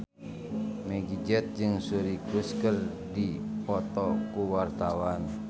Meggie Z jeung Suri Cruise keur dipoto ku wartawan